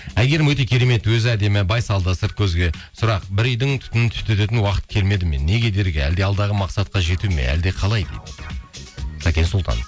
әйгерім өте керемет өзі әдемі байсалды сырт көзге сұрақ бір үйдің түтінін түтететін уақыт келмеді ме не кедергі әлде алдағы мақсатқа жету ме әлде қалай дейді сәкен сұлтан